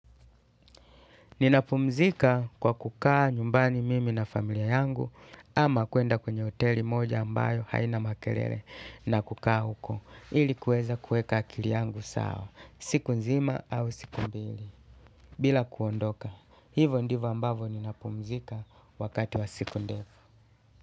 Ninapumzika kwa kukaa nyumbani mimi na familia yangu, ama kwenda kwenye hoteli moja ambayo haina makelele na kukaa huko ilikuweza kuweka akili yangu sawa siku nzima au siku mbili bila kuondoka. Hivyo ndivyo ambavyo ninapumzika wakati wa siku ndefu.